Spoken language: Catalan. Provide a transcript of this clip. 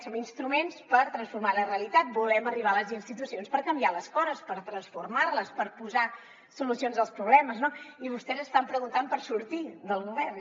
som instruments per transformar la realitat volem arribar a les institucions per canviar les coses per transformar les per posar solucions als problemes no i vostès estan preguntant per sortir del govern